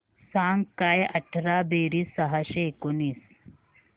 सांग काय अठरा बेरीज सहाशे एकोणीस